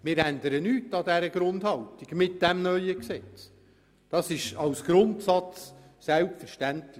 Mit dem neuen Gesetz ändern wir nichts an dieser Grundhaltung, als Grundsatz ist das selbstverständlich.